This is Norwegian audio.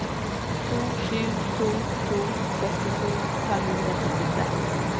to sju to to sekstito fem hundre og syttitre